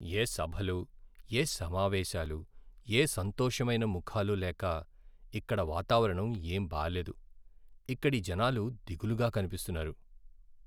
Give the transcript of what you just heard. ఏ సభలు, ఏ సమావేశాలు, ఏ సంతోషమైన ముఖాలు లేక ఇక్కడి వాతావరణం ఏం బాలేదు. ఇక్కడి జనాలు దిగులుగా కనిపిస్తున్నారు.